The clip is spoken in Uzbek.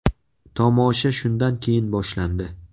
Tomosha shundan keyin boshlandi.